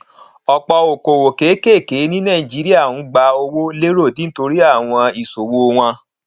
ọpọ okòwò kékèké ní nàìjíríà ń gba owó lérò nítorí àwọn ìṣòwò wọn